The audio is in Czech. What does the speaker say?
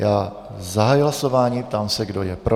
Já zahajuji hlasování, ptám se, kdo je pro.